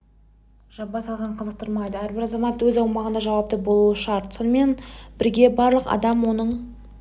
жаба салған қызықтырмайды әрбір азамат өз аумағына жауапты болуы шарт сонымен бірге барлық адам оның